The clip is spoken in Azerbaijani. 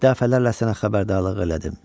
Dəfələrlə sənə xəbərdarlıq elədim.